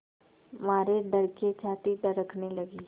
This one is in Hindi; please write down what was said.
मारे डर के छाती धड़कने लगी